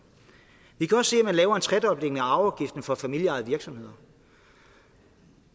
vi kan også se at man laver en tredobling af arveafgiften for familieejede virksomheder